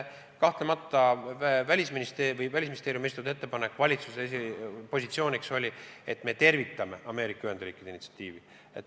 Kahtlemata Välisministeeriumi esitatud ettepanek valitsusele oli, et me tervitame Ameerika Ühendriikide initsiatiivi.